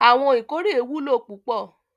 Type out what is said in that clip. Awon ikore wulo pupo